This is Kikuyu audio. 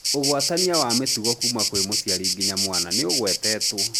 Ugwatania wa mĩtugo kuma kwĩ mũciari nginya mwana nĩũgwetetwo